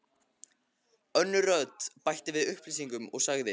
Önnur rödd bætti við upplýsingum og sagði